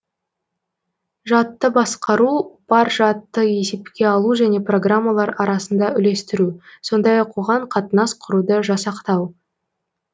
жадты басқару бар жадты есепке алу және программалар арасында үлестіру сондай ақ оған қатынас құруды жасақтау